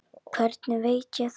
Hvernig veit ég það?